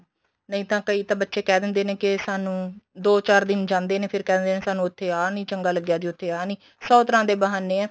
ਨਹੀਂ ਤਾਂ ਕਈ ਬੱਚੇ ਕਹਿ ਦਿੰਦੇ ਨੇ ਕੇ ਸਾਨੂੰ ਦੋ ਚਾਰ ਦਿਨ ਜਾਂਦੇ ਨੇ ਫੇਰ ਕਹਿ ਦਿੰਦੇ ਨੇ ਸਾਨੂੰ ਆਹ ਨੀਂ ਚੰਗਾ ਲੱਗਿਆ ਤੇ ਉੱਥੇ ਆਹ ਨੀਂ ਸੋ ਤਰ੍ਹਾਂ ਦੇ ਬਹਾਨੇ ਏ